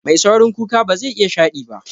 Mai saurin kuka bazai iya shaɗi ba